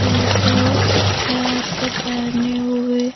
एक कैप पहने हुए--